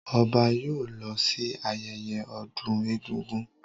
Ọba yóò lọ sí ayẹyẹ ọdún egúngún.